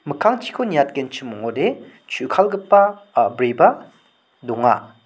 mikkangchiniko niatgenchim ong·ode chukalgipa a·briba donga.